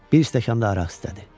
Bir stəkan da araq istədi.